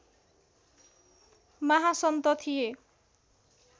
महासन्त थिए